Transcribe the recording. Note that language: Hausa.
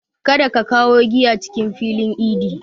Kada ka kawo giya cikin filin idi!